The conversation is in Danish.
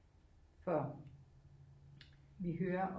For vi hører